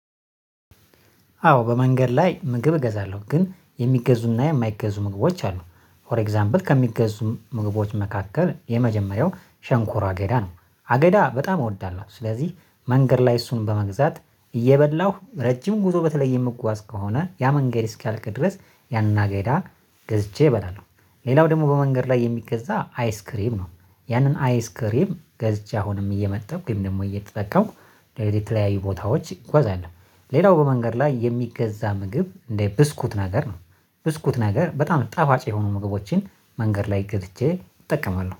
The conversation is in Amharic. አዎ በመንገድ ላይ ምግብ እገዛለሁ ግን የሚገዙና የማይገዙ ምግቦች አሉ ፎር ኤግዛምፕል ከሚገዙ ምግቦች መካከል የመጀመሪያው ሸንኮር አገዳ ነው። አገዳ በጣም እወዳለሁ ስለዚህ መንገድ ላይ እሱን በመግዛት እየበላሁ ረጅም ጉዞ በተለይ የምጓዝ ከሆነ ያ መንገድ እስኪያልቅ ድረስ ያንን አገዳ ገዝቼ እበላለሁ። ሌላው ደግሞ በመንገድ ላይ የሚገዛ አይስክሬም ነው። ያንን አይስክሬም ገዝቼ አሁንም እየመጠብኩ ወይም ደግሞ እየተጠቀምኩ የተለያዩ ቦታዎች እንጓዛለን። ሌላው በመንገድ ላይ የሚገዛ ምግብ እንደ ብስኩት ነገር ነው። ብስኩት ነገር በጣም ጣፋጭ የሆኑ ምግቦችን መንገድ ላይ ገዝቼ እጠቀማለሁ